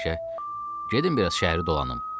Gedin biraz şəhəri dolanım, dedi.